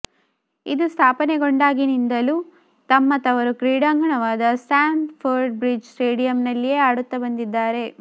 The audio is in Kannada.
ಇದು ಸ್ಥಾಪನೆಗೊಂಡಾಗಿನಿಂದಲೂ ತಮ್ಮ ತವರು ಕ್ರೀಡಾಂಗಣವಾದ ಸ್ಟ್ಯಾಮ್ ಫ಼ರ್ಡ್ ಬ್ರಿಡ್ಜ್ ಸ್ಟೇಡಿಯಂನಲ್ಲಿಯೆ ಆಡುತ್ತ್ತಾ ಬಂದಿದ್ದಾರೆ